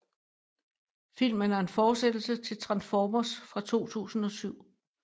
Filmen er en fortsættelse til Transformers fra 2007